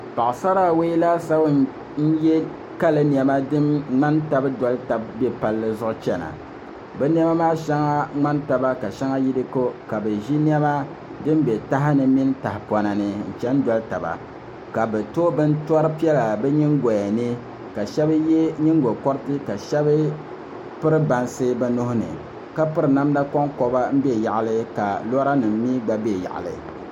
Paɣasara awoi laasabu n yɛ kali niɛma din ŋmani tabi doli tabi bɛ palli zuɣu chɛna bi niɛma maa shɛŋa ŋmani taba ka shɛŋa yi di ko ka bi ʒi niɛma din bɛ taha ni mini tahapona ni n chɛni doli taba ka bi to bintori piɛla bi nyingoya ni ka shab yɛ nyingokori ka shab piri bansi bi nuuni ka piri namda konkoba n bɛ yaɣali ka lora nim mii gba bɛ yaɣali